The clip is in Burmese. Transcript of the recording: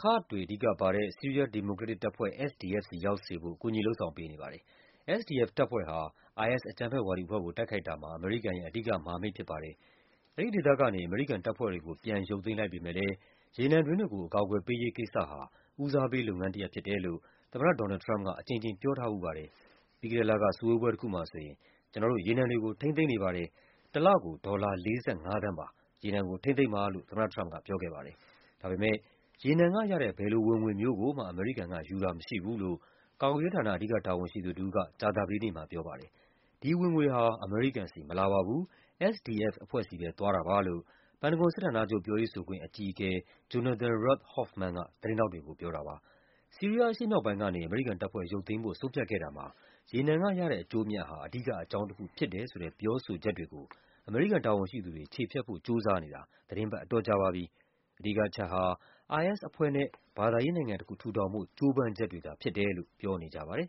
ကာ့ဒ်တွေအဓိကပါတဲ့ ဆီးရီးယား ဒီမိုကရက်တစ်တပ်ဖွဲ့ SDF ဆီရောက်စေဖို့ ကူညီလုပ်ဆောင်ပေးနေပါတယ်။ SDF တပ်ဖွဲ့ဟာ IS အကြမ်းဖက်ဝါဒီအဖွဲ့ကို တိုက်ခိုက်တာမှာ အမေရိကန်ရဲ့ အဓိကမဟာမိတ်ဖြစ်ပါတယ်။ အဲဒီဒေသကနေ အမေရိကန်တပ်ဖွဲ့တွေကို ပြန်ရုပ်သိမ်းလိုက်ပေမယ့်လည်း ရေနံတွင်းတွေကို အကာအကွယ်ပေးရေးကိစ္စဟာ ဥိးစားပေးလုပ်ငန်းတရပ်ဖြစ်တယ်လို့ သမ္မတ ဒေါ်နယ်လ်ဒ် ထရမ့်ပ်က အကြိမ်ကြိမ် ပြောထားဖူးပါတယ်။ ပြီးခဲ့တဲ့လက စုဝေးပွဲတခု မှာ “ကျနော်တို့ ရေနံတွေကို ထိန်းသိမ်းနေပါတယ်၊ တလကို ဒေါ်လာ ၄၅ သန်းပါ၊ ရေနံကိုထိန်းသိမ်းပါ” လို့ သမ္မတထရမ့်ပ်က ပြောခဲ့ပါတယ်။ ဒါပေမယ့် ရေနံကရတဲ့ ဘယ်လိုဝင်ငွေမျိုးကိုမှ အမေရိကန်ကယူတာမရှိဘူးလို့ ကာကွယ်ရေးဌာန အဓိက တာဝန်ရှိသူတဦးက ကြာသပတေးနေ့မှာပြောပါတယ်။ “ဒီဝင်ငွေဟာ အမေရိကန်ဆီ မလာပါဘူး၊ SDF အဖွဲ့ဆီပဲ သွားတာပါ” လို့ ပန်တဂွန်စစ်ဌာနချုပ် ပြောရေးဆိုခွင့် အကြီးအကဲ Jonathan Rath Hoffman က သတင်းထောက်တွေကို ပြောပါတယ်။ ဆီးရီးယားအရှေ့မြောက်ပိုင်းကနေ အမေရိကန်တပ်ဖွဲ့ ရုပ်သိမ်းဖို့ ဆုံးဖြတ်ခဲ့တာမှာ ရေနံကရတဲ့အကျိုးအမြတ်ဟာ အဓိက အကြောင်းတခုဖြစ်တယ်ဆိုတဲ့ ပြောဆိုချက်တွေကို အမေရိကန်တာဝန်ရှိသူတွေ ချေဖျက်ဖို့ကြိုးစားနေတာ သီတင်းပတ် အတော် ကြာပါပြီ။ အဓိကအချက်ဟာ IS အဖွဲ့နဲ့ ဘာသာရေးနိုင်ငံတခု ထူထောင်ဖို့ ကြိုးပမ်းချက်တွေသာဖြစ်တယ်လို့ ပြောကြပါတယ်